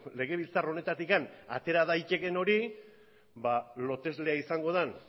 legebiltzar honetatik atera daitekeen hori loteslea izango den